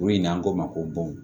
Kuru in n'an k'o ma ko bɔn